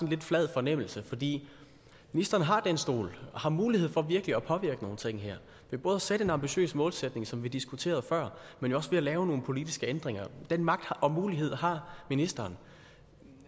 lidt flad fornemmelse fordi ministeren har den stol og har mulighed for virkelig at påvirke nogle ting her ved både at sætte en ambitiøs målsætning som vi diskuterede før men jo også ved at lave nogle politiske ændringer den magt og mulighed har ministeren